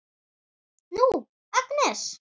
Nú, Agnes.